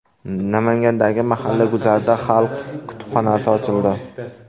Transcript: Namangandagi mahalla guzarida xalq kutubxonasi ochildi.